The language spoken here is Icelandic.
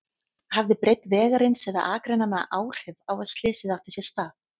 Hafði breidd vegarins eða akreinanna áhrif á að slysið átti sér stað?